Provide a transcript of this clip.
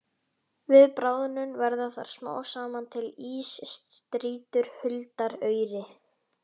Við bráðnun verða þar smám saman til ísstrýtur huldar auri.